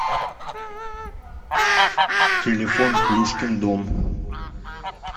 телефон плюшкин дом